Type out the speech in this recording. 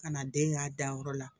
Ka na den ka danyɔrɔ la